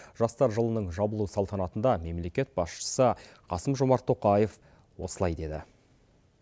жастар жылының жабылу салтанатында мемлекет басшысы қасым жомарт тоқаев осылай деді